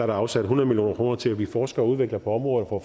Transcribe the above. der afsat hundrede million kroner til at vi forsker og udvikler på området og